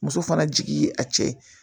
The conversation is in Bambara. Muso fana jigin a cɛ